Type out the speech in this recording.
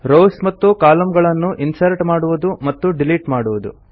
rows ಮತ್ತು columns ಗಳನ್ನು insert ಮಾಡುವುದು ಮತ್ತು ಡಿಲೀಟ್ ಮಾಡುವುದು